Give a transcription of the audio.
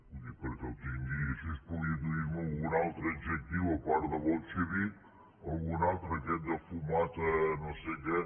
ho dic perquè ho tingui i així pugui dir me algun altre adjectiu a part de bolxevic algun altre aquest de fumata no sé què